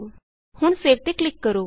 ਹੁਣ ਸੇਵ ਤੇ ਕਲਿਕ ਕਰੋ